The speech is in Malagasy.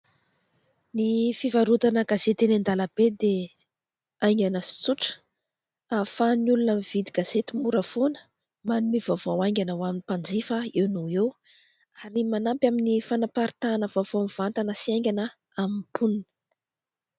Ny fivarotana gazety eny andalam-be dia haingana sy tsotra ahafahan'ny olona mividy gazety mora foana, manome vaovao haingana ho an'ny mpanjifa eo no ho eo ary manampy amin'ny fanaparitahana vaovao mivantana sy haingana amin'ny mponina.